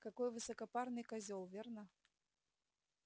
какой высокопарный козёл верно